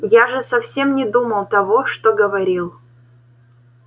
я же совсем не думал того что говорил